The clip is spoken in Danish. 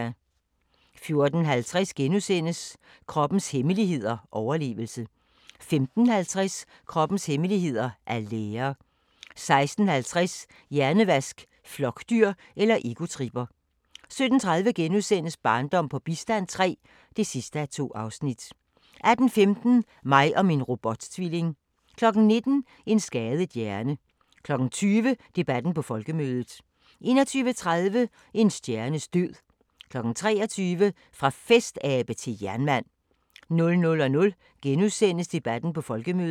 14:50: Kroppens hemmeligheder: Overlevelse * 15:50: Kroppens hemmeligheder: At lære 16:50: Hjernevask – Flokdyr eller egotripper? 17:30: Barndom på bistand III (2:2)* 18:15: Mig og min robot-tvilling 19:00: En skadet hjerne 20:00: Debatten på Folkemødet 21:30: En stjernes død 23:00: Fra festabe til jernmand 00:00: Debatten på Folkemødet *